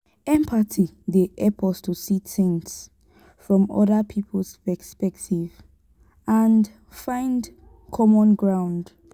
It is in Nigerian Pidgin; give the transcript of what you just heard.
empathy dey help us to see things from oda people's perspectives and find common ground.